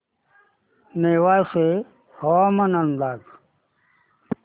नेवासे हवामान अंदाज